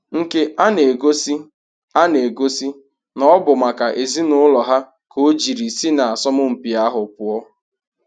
Nke a na-egosi a na-egosi na ọ bụ maka ezinaụlọ ha ka o jiri si na asọmpị ahụ pụọ.